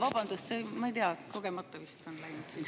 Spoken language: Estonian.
Vabandust, ma ei tea, kogemata vist on sisse läinud.